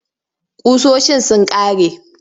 Ƙusoshin sun ƙare.